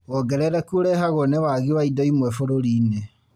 Wongerereku ũrehagwo nĩ wagi wa indo imwe bũrũri-inĩ